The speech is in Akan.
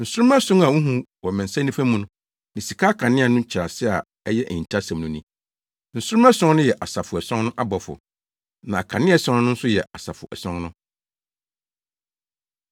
Nsoromma ason a wuhu wɔ me nsa nifa mu ne sika akaneadua no nkyerɛase a ɛyɛ ahintasɛm no ni; Nsoromma ason no yɛ asafo ason no abɔfo, na akaneadua ason no nso yɛ asafo ason no.”